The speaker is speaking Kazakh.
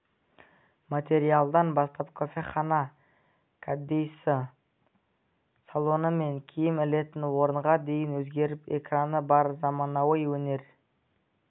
материалдан бастап кофехана кәдесый салоны мен киім ілетін орынға дейін өзгеріп экраны бар заманауи өнер